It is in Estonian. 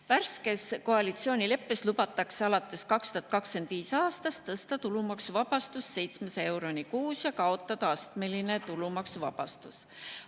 Värskes koalitsioonileppes lubatakse alates 2025. aastast tõsta tulumaksuvabastus 700 euroni kuus ja kaotada astmeline tulumaksuvabastus.